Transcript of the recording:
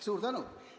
Suur tänu!